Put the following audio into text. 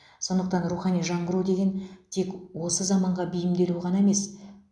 сондықтан рухани жаңғыру деген тек осы заманға бейімделу ғана емес